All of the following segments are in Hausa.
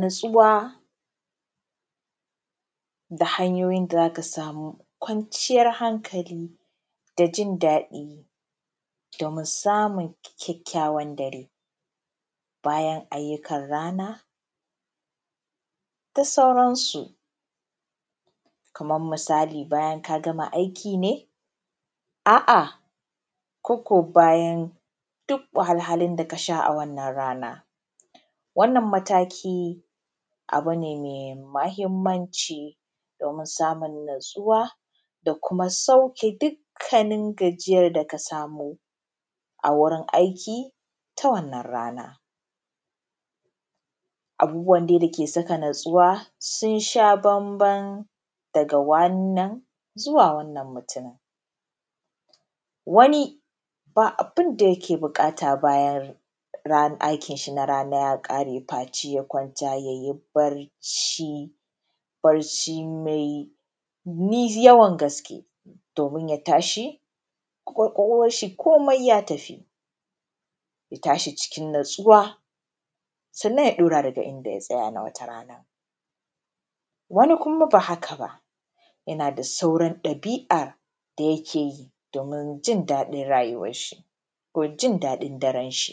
natsuwaˋ da hanyoyin da zakaˋ samuˋ kwanciyar hankaliˋ da jin daɗiˋ, domin samun kyakkyawan dareˋ, bayan aayyukan ranaˋ da sauransuˋ kaman misaliˋ bayan ka gamaˋ ka gamaˋ aikiˋ ne a’a ko ko bayan duk wahalhalun da ka sha a wannan rana wannan matakiˋ abu ne mai mahimmanciˋ, domin samun natsuwaˋ da kumaˋ saukeˋ duk gajiyan da kaˋ samoˋ a wurin aikiˋ taˋ wannan ranaˋ abubuwan dai dakeˋ sakaˋ natsuwaˋ sun sha bambam dagaˋ wannan zuwaˋ wannan mutinin waniˋ babuˋ abindaˋ yakeˋ bukata bayan aikin shi na ranaˋ ya kareˋ faceˋ yaˋ kwantaˋ ya yi barciˋ, barciˋ mai yawan gaskeˋ domin ya tashiˋ kwakwalwanshi komeˋ ya tafiˋ, ya tashi cikin natsuwaˋ sannan ya dauraˋ dagaˋ indaˋ ya tsayaˋ na wataˋ ranaˋ waniˋ kumaˋ ba hakaˋ ba, yanaˋ daˋ sauran dabiˋ’ar da yakeˋ yiˋ domin jin dadin rayuwar shi ko jin dadin daren shi,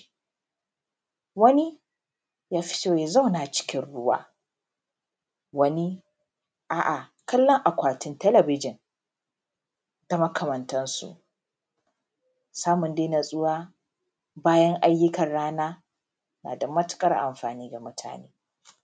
waniˋ ya fitoˋ yaˋ zaunaˋ cikin ruwaˋ, waniˋ a’a kallon akwatin talabijin da makamantan su samun dai natsuwaˋ bayan ayyukan ranaˋ nadaˋ matukar amfaniˋ gaˋ mutaneˋ